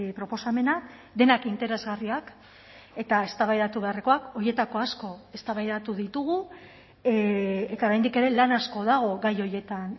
proposamena denak interesgarriak eta eztabaidatu beharrekoak horietako asko eztabaidatu ditugu eta oraindik ere lan asko dago gai horietan